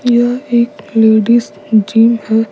यह एक ladies gym है।